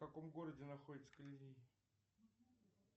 в каком городе находится колизей